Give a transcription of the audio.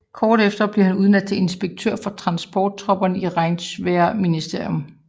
Kort efter blev han udnævnt til inspektør for transporttropperne i Reichswehrministerium